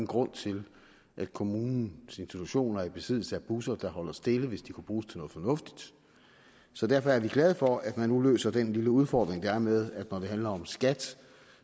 grund til at kommunens institutioner er i besiddelse af busser der holder stille hvis de kunne bruges til noget fornuftigt så derfor er vi glade for at man nu løser den lille udfordring der er med at når det handler om skat